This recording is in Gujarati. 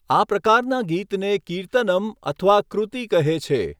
આ પ્રકારના ગીતને કીર્તનમ્ અથવા કૃતિ કહે છે.